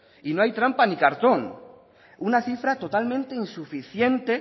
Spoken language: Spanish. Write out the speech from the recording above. y no hay trampa ni cartón una cifra totalmente insuficiente